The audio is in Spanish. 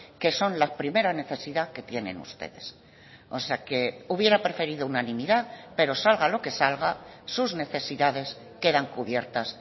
que son la primera necesidad que tienen ustedes o sea que hubiera preferido unanimidad pero salga lo que salga sus necesidades quedan cubiertas